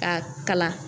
Ka kalan